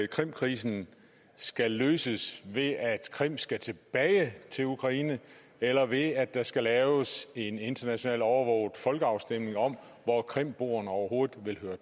krimkrisen skal løses ved at krim skal tilbage til ukraine eller ved at der skal laves en international overvåget folkeafstemning om hvor krimboerne overhovedet vil høre